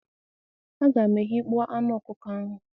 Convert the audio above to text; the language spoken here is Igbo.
A ga m eghekpo anụ ọkụkọ ahụ